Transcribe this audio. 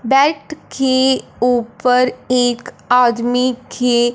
diet खे ऊपर एक आदमी खे --